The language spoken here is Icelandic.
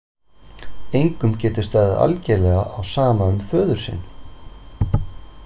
Engum getur staðið algerlega á sama um föður sinn?